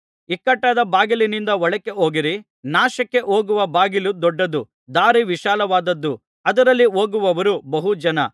ಇಕ್ಕಟ್ಟಾದ ಬಾಗಿಲಿನಿಂದ ಒಳಕ್ಕೆ ಹೋಗಿರಿ ನಾಶಕ್ಕೆ ಹೋಗುವ ಬಾಗಿಲು ದೊಡ್ಡದು ದಾರಿ ವಿಶಾಲವಾದುದು ಅದರಲ್ಲಿ ಹೋಗುವವರು ಬಹು ಜನ